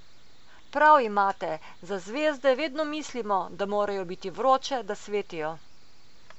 Prav imate, za zvezde vedno mislimo, da morajo biti vroče, da svetijo.